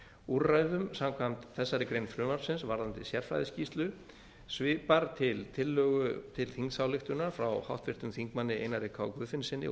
úrræðum samkvæmt þessari grein frumvarpsins varðandi sérfræðiskýrslu svipar til tillögu til þingsályktunar frá háttvirtum þingmanni einari k guðfinnssyni og